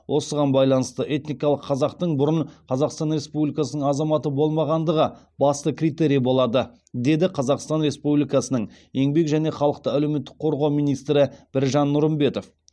осыған байланысты этникалық қазақтың бұрын қазақстан республикасы азаматы болмағандығы басты критерий болады деді қазақстан республикасының еңбек және халықты әлеуметтік қорғау министрі біржан нұрымбетов